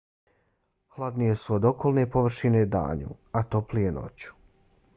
hladnije su od okolne površine danju a toplije noću.